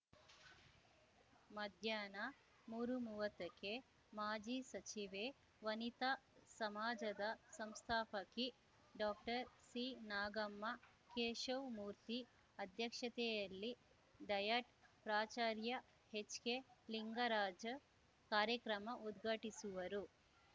ಮಧ್ಯಾಹ್ನ ಮೂರುಮುವತ್ತಕ್ಕೆ ಮಾಜಿ ಸಚಿವೆ ವನಿತಾ ಸಮಾಜದ ಸಂಸ್ಥಾಪಕಿ ಡಾಕ್ಟರ್ಸಿನಾಗಮ್ಮ ಕೇಶವ್ ಮೂರ್ತಿ ಅಧ್ಯಕ್ಷತೆಯಲ್ಲಿ ಡಯಟ್‌ ಪ್ರಾಚಾರ್ಯ ಹೆಚ್‌ಕೆಲಿಂಗರಾಜ ಕಾರ್ಯಕ್ರಮ ಉದ್ಘಾಟಿಸುವರು